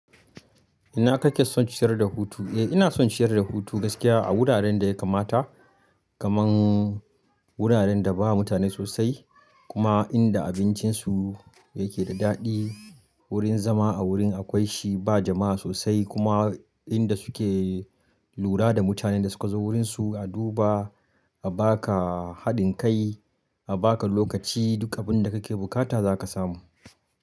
Ina kake son ciyar da hutu? Eh ina son ciyar da hutu gaskiya a wuraren da ya kamata, kaman wuraren da ba mutane sosai kuma inda abincinsu yake da daɗi. Wurin zama a wurin akwai shi ba jama'a sosai kuma inda suke lura da mutanen da suka zo wurinsu, a duba, a baka haɗin kai, a baka lokaci duk abin da kake bukata zaka samu.